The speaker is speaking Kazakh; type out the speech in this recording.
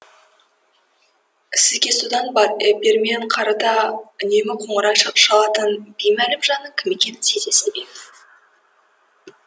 сізге содан бермен қарата үнемі қоңырау шалатын беймәлім жанның кім екенін сезесіз бе